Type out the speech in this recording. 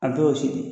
A dɔw y'o si de ye